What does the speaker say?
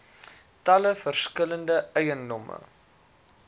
talle verskillende eiendomme